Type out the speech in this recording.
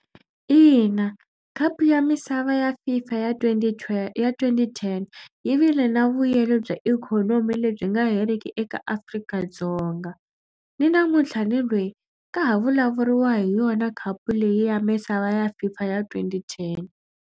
Ina khapu ya misava ya FIFA ya twenty ya twenty-ten yi vile na vuyelo bya ikhonomi lebyi nga heriki eka Afrika-Dzonga. Ni namuntlha ni lweyi ka ha vulavuriwa hi yona khapu leyi ya misava ya FIFA ya twenty-ten.